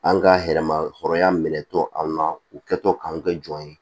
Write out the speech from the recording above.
An ka hɛrɛ ma hɔrɔnya minɛ to an na u kɛtɔ k'an kɛ jɔn ye